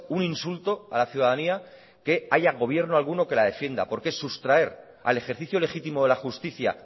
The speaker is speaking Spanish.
un insulto a la ciudadanía que haya gobierno alguno que la defienda porque es sustraer al ejercicio legítimo de la justicia